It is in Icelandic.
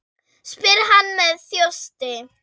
spyr hann með þjósti.